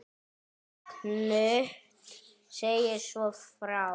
Knud segir svo frá